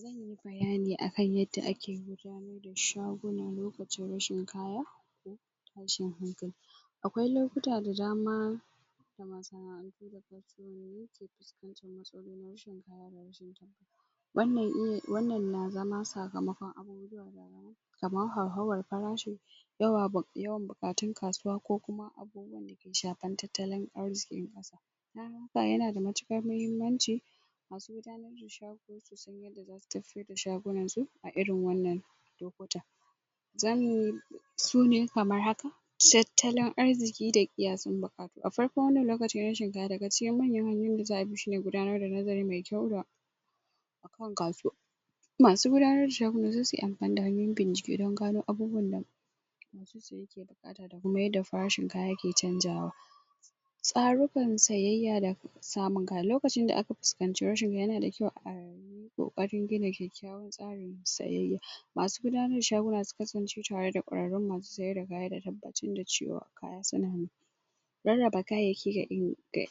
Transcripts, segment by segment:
zanyi bayani akan yadda ake gudanar da shaguna lokacin rashin kaya da kuma tashin hankali akwai lokuta da dama da masana'antu da kampanoni ke puskantar matsalolin rashin kayan abinci wannan na zama sakamakon kamar hauhawan parashi yawan buƙatun kasuwa ko kuma abubuwan dake shapan tattalin arzikin ƙasa don haka yana da matuƙar mahimmanci masu gudanar da shago su san yanda zasu tafyar da shagunan su a irin wannan lokuta zamuyi su na kamar haka tattalin arziki da ƙiyasin baka a farkon wannan lokaci na rashin kaya daga cikin manyan hanyoyin da za'a bi shine gidanar da nazari mai kyau akan kasuwa masu gudanar da shaguna sai suyi ampani da hanyoyin bincike don gano abubuwan da ke buƙata da kuma yanda farashin kaya ke canzawa tsarukan sayayya da samun kaya lokacin da aka puskanci rashin yana da kyau a ƙoƙarin gina kyakkyawan tsarin siyayya masu gudanar da shaguna su kasance tare da ƙwararrun masu siyar da kaya da tabbatar da cewa kaya suna nan rarraba kayayyaki ga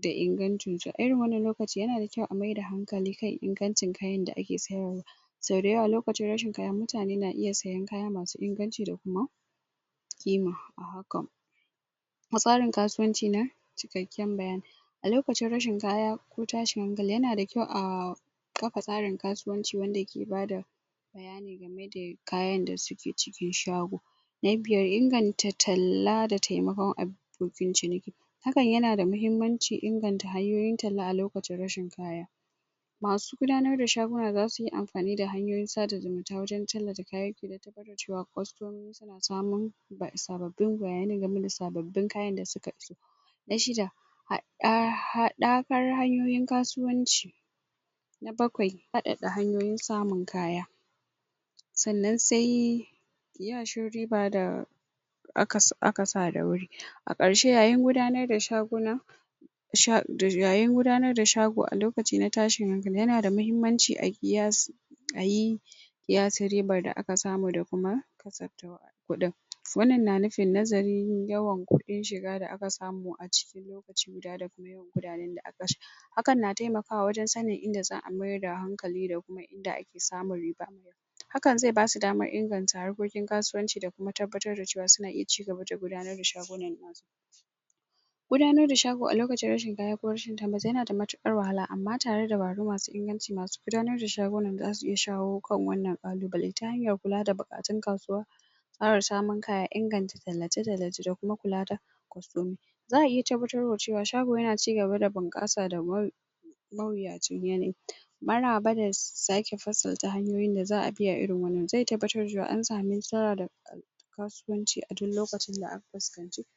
da ingancinta irin wannan lokaci yana kyau a mai da hankali kam ingancin kayan da ake siyarwa sau dayawa lokacin rashin kaya mutane na iya siyan kaya masu inganci kuma ƙima a hakan tsarin kasuwanci na cikakken bayani a lokacin rashin kaya ko tashin hankali yana da kyau a kapa tsarin kasuwanci wanda ke bada bayani game da kayan da suke cikin shago na biyar inganta talla da taimakon abokin ciniki hakan yana da mahimmanci inganta hanyoyin talla a lokacin rashin kaya masu gudanar da shaguna zasu yi amfani da hanyoyin sada zumunta wajen tallata kayayyaki don tabbatar da cewa kostomomi na samun sababbin bayanai game da sababbin kayan da suka zuba na shida haɗakar hanyoyin kasuwanci na bakwai faɗaɗa hanyoyin samun kaya sannan sai ƙiyashin riba da aka sa da wuri a ƙarshe yayin gudanar da shaguna sha yayin gudanar da shago a lokaci na tashin hankali yana da mahimmanci ayi ƙiyasi ayi ƙiyasin riban da aka samu da kuma kuɗin wannan na nufin nazarin yawan kuɗin shiga da aka samu a cikin a ciniki da kuma yawan kuɗaɗen da aka kashe hakan na taimakawa wajen sanin inda za'a mayar da hankali da inda ake samun riba hakan zai basu damar inganta harkokin kasuwanci da kuma tabbatar da cewa suna iya cigaba da gudanar da shagunan gudanar da shago a lokacin rashin kaya ko rashin tabbas yana da matuƙar wahala amma tare da dabaru masu inganci masu gudanar da shagunan zasu iya shawo kan wannan ƙalubale ta hanyar kula da buƙatun kasuwa ƙara samun kaya inganta tallace tallace da kuma kula da? za'a iya tabbatar wa cewa shago yana cigaba da bunƙasa da mawuyacin yanayi maraba da sake fasalta hanyoyin da za'a kiyaye irin wannan zai tabbatar da cewa an sami nasara da kasuwanci a duk lokacin da aka fuskanci